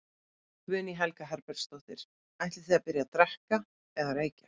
Guðný Helga Herbertsdóttir: Ætlið þið að byrja að drekka eða reykja?